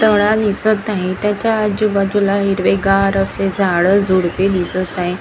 तळ दिसत आहे त्याच्या आजूबाजूला हिरवेगार असे झाडं झुडुपे दिसत आहे.